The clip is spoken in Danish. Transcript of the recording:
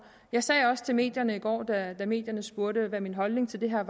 jeg sagde også til medierne i går da medierne spurgte hvad min holdning til det her